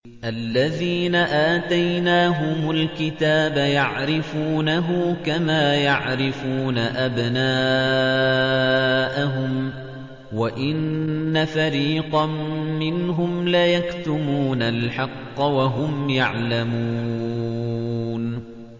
الَّذِينَ آتَيْنَاهُمُ الْكِتَابَ يَعْرِفُونَهُ كَمَا يَعْرِفُونَ أَبْنَاءَهُمْ ۖ وَإِنَّ فَرِيقًا مِّنْهُمْ لَيَكْتُمُونَ الْحَقَّ وَهُمْ يَعْلَمُونَ